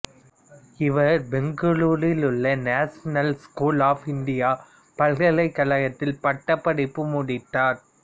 இவர் பெங்களூரில் உள்ள நேஷனல் லா ஸ்கூல் ஆஃப் இந்திய பல்கலைக்கழகத்தில் பட்டப்படிப்பை முடித்தார்